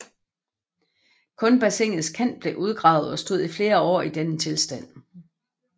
Kun bassinets kant blev udgravet og stod i flere år i denne tilstand